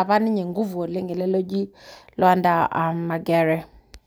apa ninye nguvu ele apa oji luanda magere